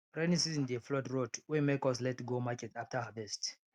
rainy season dey flood road wey make us late go market after harvest